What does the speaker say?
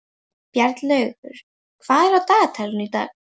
Bjarnlaugur, hvað er á dagatalinu í dag?